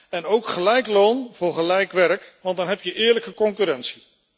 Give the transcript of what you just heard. En ook gelijk loon voor gelijk werk, want dan heb je eerlijke concurrentie.